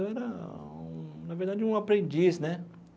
Eu era um, na verdade, um aprendiz né.